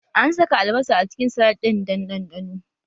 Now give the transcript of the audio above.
An saka albasa a cikin salat ɗin dan ɗanɗano